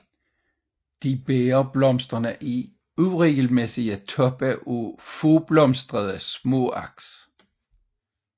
De bærer blomsterne i uregelmæssige toppe af fåblomstrede småaks